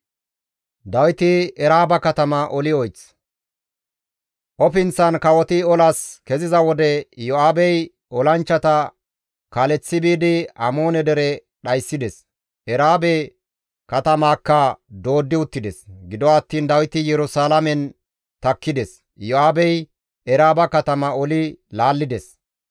Ofinththan kawoti olas keziza wode Iyo7aabey olanchchata kaaleththi biidi Amoone dere dhayssides; Eraabe katamaakka dooddi uttides; gido attiin Dawiti Yerusalaamen takkides; Iyo7aabey Eraaba katama oli laallides.